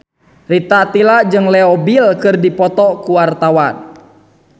Rita Tila jeung Leo Bill keur dipoto ku wartawan